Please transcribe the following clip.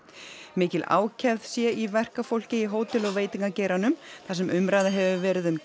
mikil ákefð sé í verkafólki í hótel og veitingageiranum þar sem umræða hefur verið um